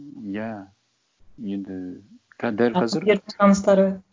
иә енді дәл қазір